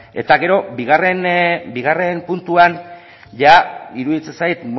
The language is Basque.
eta gero bigarren puntuan ia iruditzen zait